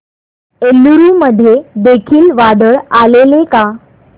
एलुरू मध्ये देखील वादळ आलेले का